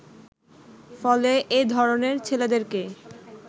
ফলে এ ধরনের ছেলেদেরকে